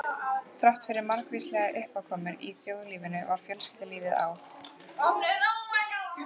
Þráttfyrir margvíslegar uppákomur í þjóðlífinu var fjölskyldulífið á